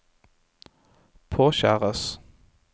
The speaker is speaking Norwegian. påkjæres